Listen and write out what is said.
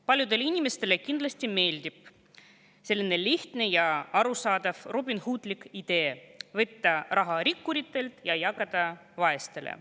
Paljudele inimestele kindlasti meeldib selline lihtne ja arusaadav robinhoodlik idee võtta raha rikkuritelt ja jagada vaestele.